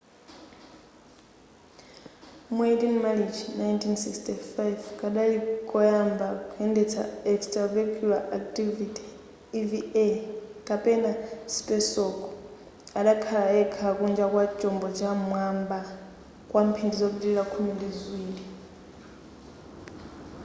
mu 18 marichi 1965 kadali koyamba kuyendesa extravehicular activity eva kapena spacewalk” adakhala yekha kunja kwa chombo cha m'mwamba kwa mphindi zopitilira khumi ndi ziwiri